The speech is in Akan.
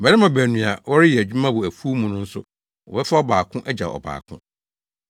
Mmarima baanu a wɔreyɛ adwuma wɔ afuw mu no nso, wɔbɛfa ɔbaako agyaw ɔbaako.”